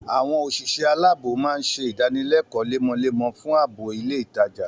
Àwọn òṣìṣẹ́ aláàbọ̀ máa ń ṣe idanilekoo lemọlemọfún ààbò ilé ìtajà